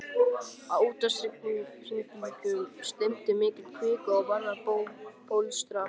Á úthafshryggjunum streymdi upp mikil kvika og varð að bólstrabergi.